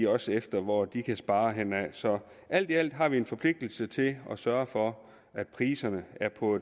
også efter hvor de kan spare henne så alt i alt har vi en forpligtelse til at sørge for at priserne er på